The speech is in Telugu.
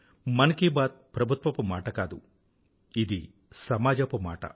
మన్ కీ బాత్ ప్రభుత్వపు మాట కాదు ఇది సమాజపు మాట